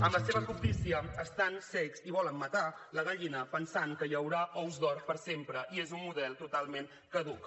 amb la seva cobdícia estan cecs i volen matar la gallina pensant que hi haurà ous d’or per sempre i és un model totalment caduc